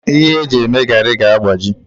Ihe eji eme garri ga-agbaji